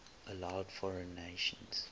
allowed foreign nations